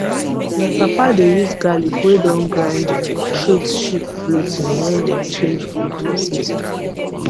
my papa dey use garlic wey don grind treat sheep bloating when dem change food for season